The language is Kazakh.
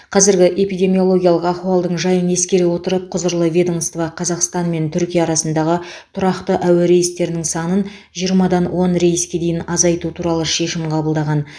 қазіргі эпидемиологиялық ахуалдың жайын ескере отырып құзырлы ведомство қазақстан мен түркия арасындағы тұрақты әуе рейстерінің санын жиырмадан он рейске дейін азайту туралы шешім қабылдаған